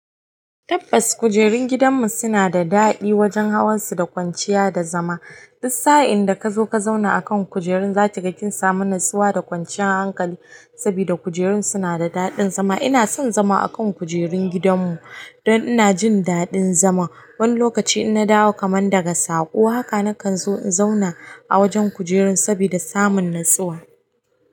Tabbas kujerun gidanmu suna da daɗi wajen hawansu da kwanciya da zama dus sa'in da ka zo ka zauna akan kujerun, za ki ga kin samu natsuwa da kwanciyar hankali sabida kujerun suna da daɗin zama. Ina son zama akan kujerun gidanmu don ina jin daɗin zama. Wani lokaci in na dawo kaman daga saƙo haka na kan zo in zauna a wajen kujerun saboda samun natsuwa.